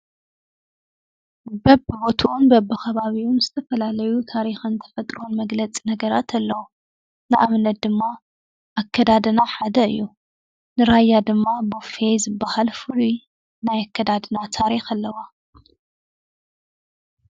በቢቢትኡን በቢከባቢኡን ዝተፈላለዩ ታሪክን ተፈጥሮን መግለፂ ነገራት አለው፡፡ ንአብነት ድማ አከዳድና ሓደ እዩ፡፡ ንራያ ድማ ቦፌ ዝበሃል ፍሉይ ናይ አከዳድና ታሪክ አለዎ፡፡